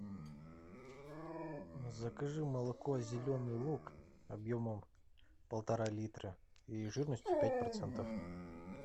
закажи молоко зеленый луг объемом полтора литра и жирностью пять процентов